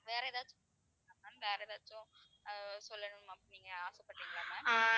வேற ஏதாவது சொல்லணுமா ma'am வேற ஏதாச்சும் அஹ் சொல்லணுமா நீங்க ஆசைப்படறீங்களா ma'am